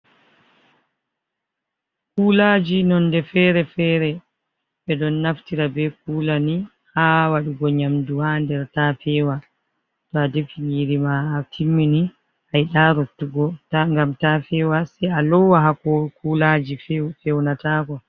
Kulaji nonde fere-fere ɓe ɗon naftira be kula ni ha waɗugo nyamdu ha nder ta fewa. To a defi nyiri ma, a timmini, a yida rottugo ngam ta fewa, sai a lowa ha kulaji feunatako.